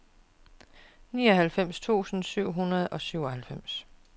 nioghalvfjerds tusind syv hundrede og syvoghalvfems